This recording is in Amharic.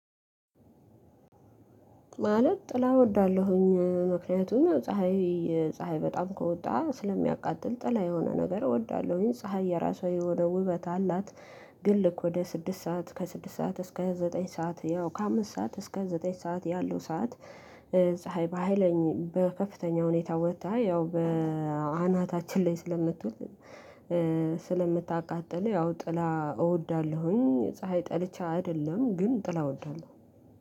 ማለት ጥላ እወዳለሁኝ ምክንያቱም ፀሀይ ፀሀይ በጣም ከወጣ ስለሚያቃጥል ጥላ የሆነ ነገር እወዳለሁኝ ፀሀይ የራሷ የሆነ ውበት አላት። ግን ልክ ወደ ስድስት ሰዓት ከስድስት ሰዓት እስከ ዘጠኝ ሰዓት ያው ከአምስት ሰዓት እስከ ዘጠኝ ሰዓት ያለው ሰዓት ፀሀይ በሃይለኝአው በከፍተኛ ሁኔታ ወጥታ ያው በአናታችን ላይ ስለምትውል። ስለምታቃጥል ያው ጥላ እወዳለሁኝ ፀሀይ ጠልቼ አይደለም ግን ጥላ እወዳለሁ።